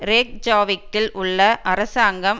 ரேக்ஜாவிக்கில் உள்ள அரசாங்கம்